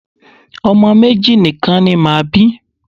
Ọmọ méjì nìkan ni màá bí.